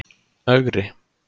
Ögri